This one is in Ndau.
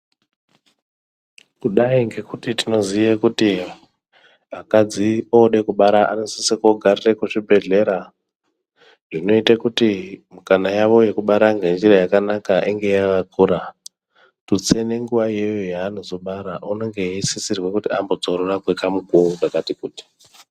Kudai ngekuti tinoziye kuti akadzi odekubara unosise kogarire kuchibhedhlera. Zvinoite kuti mikana yavo yekubara ngenjira yakanaka inge yakakura. Tutse nenguva iyoyo yaanozobara unenge eisisirwe kuti ambodzorora kwekamukuvo kakati kuti.